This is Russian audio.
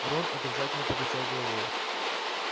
рон отрицательно покачал головой